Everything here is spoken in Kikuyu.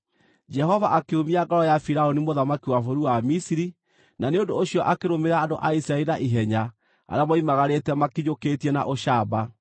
Jehova akĩũmia ngoro ya Firaũni mũthamaki wa bũrũri wa Misiri, na nĩ ũndũ ũcio akĩrũmĩrĩra andũ a Isiraeli na ihenya arĩa moimagarĩte makinyũkĩtie na ũcamba.